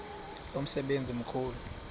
lo msebenzi mkhulu